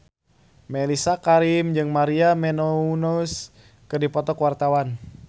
Mellisa Karim jeung Maria Menounos keur dipoto ku wartawan